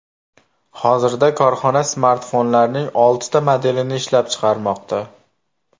Hozirda korxona smartfonlarning oltita modelini ishlab chiqarmoqda.